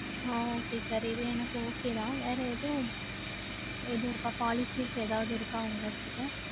ஆஹ் okay sir. இது எனக்கு okay தான். வேற எதுவும் ஏதும் இருக்கா? Policies எதாவது இருக்கா உங்க கிட்ட